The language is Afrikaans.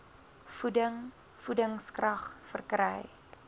voeding voedingskrag verkry